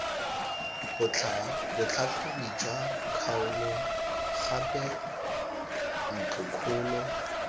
botlhatlhobi jwa kgaolo gape ntlokgolo